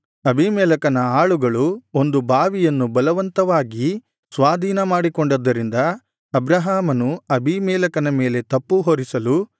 ಅಬೀಮೆಲೆಕನ ಆಳುಗಳು ಒಂದು ಬಾವಿಯನ್ನು ಬಲವಂತವಾಗಿ ಸ್ವಾಧೀನಪಡಿಸಿಕೊಂಡದ್ದರಿಂದ ಅಬ್ರಹಾಮನು ಅಬೀಮೆಲೆಕನ ಮೇಲೆ ತಪ್ಪು ಹೊರಿಸಲು